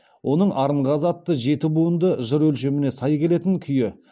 оның арынғазы атты жеті буынды жыр өлшеміне сай келетін күйі